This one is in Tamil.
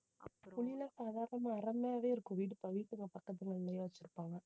புளியெல்லாம் சாதாரணமா மரமாவே இருக்கும் வீடு வச்சிருப்பாங்க